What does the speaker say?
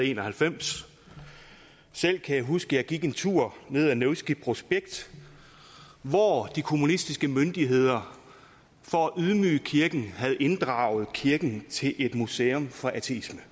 en og halvfems selv kan jeg huske at jeg gik en tur ned ad nevskij prospekt hvor de kommunistiske myndigheder for at ydmyge kirken havde inddraget kirken til et museum for ateisme